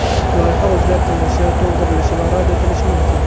Loyiha o‘zgartirilishi, to‘ldirilishi va rad etilishi mumkin.